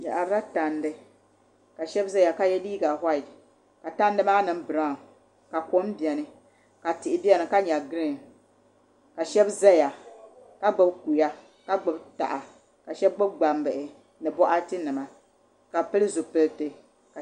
Bi yaarila tandi ka so ʒɛya ka yɛ liiga whait ka tandi maa niŋ braawn ka kom biɛni ka tihi biɛni ka nyɛ giriin ka shab ʒɛya ka gbubi kuya ka gbuni taha ka shab gbubi gbambihi ni boɣati nima ka bi pili zipiliti